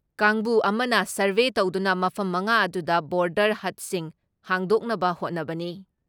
ꯀꯥꯡꯕꯨ ꯑꯃꯅ ꯁꯔꯚꯦ ꯇꯧꯗꯨꯅ ꯃꯐꯝ ꯃꯉꯥ ꯑꯗꯨꯗ ꯕꯣꯔꯗꯔ ꯍꯠꯁꯤꯡ ꯍꯥꯡꯗꯣꯛꯅꯕ ꯍꯣꯠꯅꯕꯅꯤ ꯫